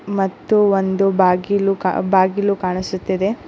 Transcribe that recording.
ಮತ್ತು ಒಂದು ಬಾಗಿಲು ಬಾಗಿಲು ಕಾಣಿಸುತ್ತಿದೆ.